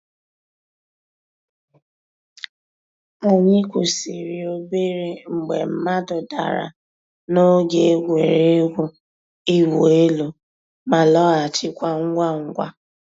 Ànyị̀ kwụsìrì òbèrè mgbè mmàdụ̀ dàrā n'ògè ègwè́régwụ̀ ị̀wụ̀ èlù, má lọ̀ghachikwa ngwá ngwá.